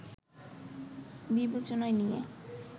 বিবেচনায় নিয়ে